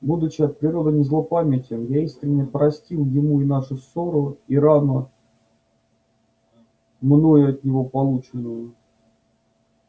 будучи от природы не злопамятен я искренне простил ему и нашу ссору и рану мною от него полученную